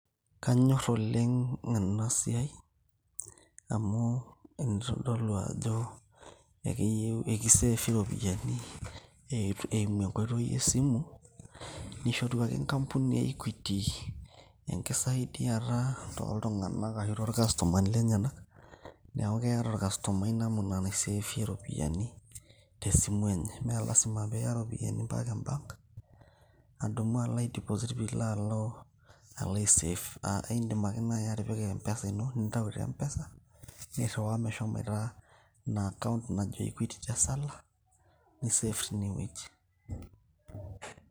Kanyor oleng' enasiai, amu kitodolu ajo, ekiseefi ropiyaiani, eimu ake enkoitoi esimu, nishoru ake enkampuni e Equity, enkisaidiata toltung'anak ashu tolkastomani lenyanak. Neeku keeta orkasomai namuna naiseefie ropiyaiani tesimu enye. Me lasima piya ropiyaiani mpaka e bank ,adumu alo ai deposit pilo alo alo aiseef. Aidim nai atipika mpesa ino, nintau te mpesa nirriwaa meshomoita ina account naji Equity Tesala, niseef tinewueji.